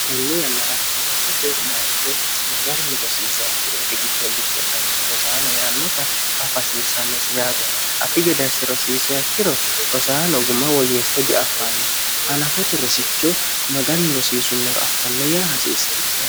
hatannuu yannara hanafote bayacho magarni rosiise yakkiooti giddollitte anno rosaano yeannota afi hasiissannosi yaate afi gedasse rosiise yakkiro rosaano guma woyyeeste diaffanno hanafote rosicho maganni rosiisummoro affanno yaa hasiissannosi